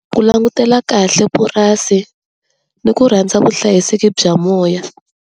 Ku langutela kahle purasi ni ku rhandza vuhlayiseki bya moya.